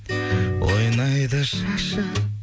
ойнайды шашып